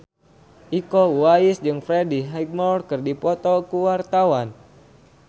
Iko Uwais jeung Freddie Highmore keur dipoto ku wartawan